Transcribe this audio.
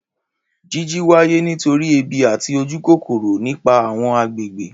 Jiji waye nitori ebi ati ojukokoro, ni ipa awọn agbegbe.